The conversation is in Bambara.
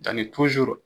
Danni